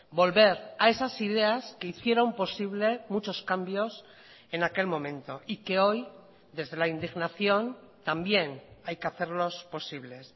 volver a esas ideas que hicieron posible muchos cambios en aquel momento y que hoy desde la indignación también hay que hacerlos posibles